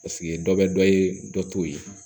Paseke dɔ bɛ dɔ ye dɔ t'o ye